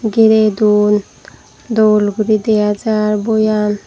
girey don dol guri deajar buyan.